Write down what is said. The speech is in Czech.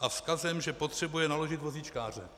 a vzkazem, že potřebujeme naložit vozíčkáře.